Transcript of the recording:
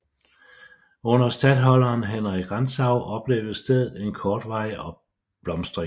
Under statholderen Henrik Rantzau oplevede stedet en kortvarig blomstring